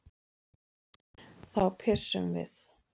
Þá pissum við.